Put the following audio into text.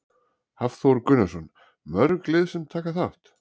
Hafþór Gunnarsson: Mörg lið sem taka þátt?